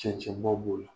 Cɛncɛnba b'o la